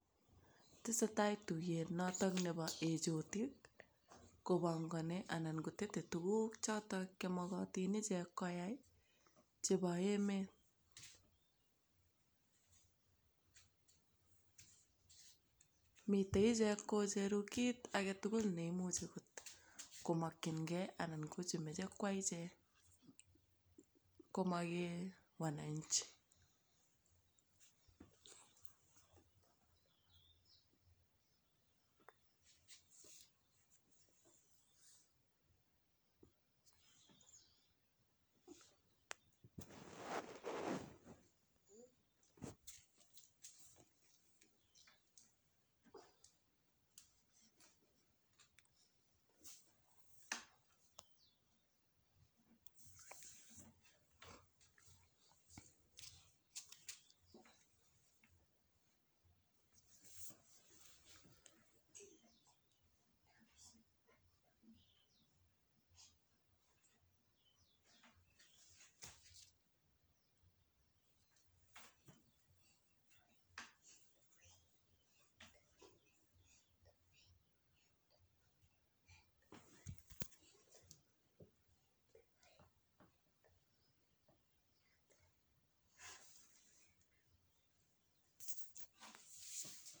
Tesetai tuyet natak nebo ejotik kopangani anan kotetei tukuk choto chemokotin ichek koyai chebo emet. Mitei ichek kocheru kit agetugul neimuchi komaknigei anan ko chemejei kwai ichek komagei wananchi.